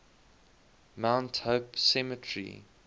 mount hope cemetery